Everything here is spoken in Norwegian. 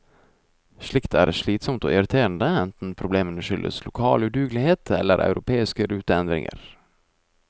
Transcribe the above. Slikt er slitsomt og irriterende, enten problemene skyldes lokal udugelighet eller europeiske ruteendringer.